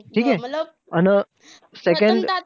ठीके अन second